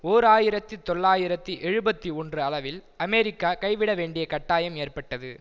ஓர் ஆயிரத்தி தொள்ளாயிரத்தி எழுபத்தி ஒன்று அளவில் அமெரிக்கா கைவிடவேண்டிய கட்டாயம் ஏற்பட்டது